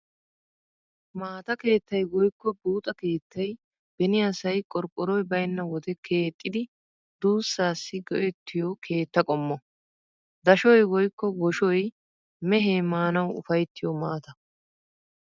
Maata keettay woykko buuxa keettay beni asay qorqqoroy baynna wode keexxidi duussaassi go'ettiyoo keetta qommo. Dashoy woykko woshoy mehee maanawu ufayttiyo maata.